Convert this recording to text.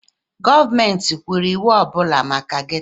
Gọọmenti kwuru iwu ọ bụla maka gétò